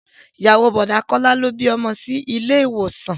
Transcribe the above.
Ìyàwó o Bọ̀dá Kọ́lá ló bí ọmọ sí ilé ìwòsàn